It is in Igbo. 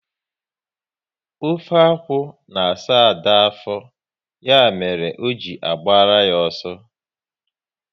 Ofe akwụ na asa Ada afọ, ya mere o ji agbara ya ọsọ